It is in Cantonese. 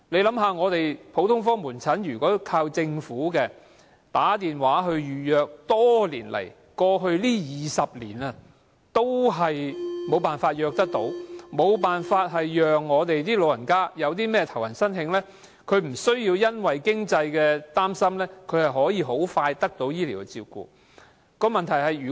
想想看，如果我們依靠政府的普通科門診 ，20 多年來也難以透過電話預約服務成功預約門診，更沒辦法讓老人家在"頭暈身㷫"時，不需要擔心經濟問題而可以很快得到醫療照顧。